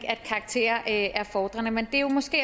at karakterer er fordrende men det er jo måske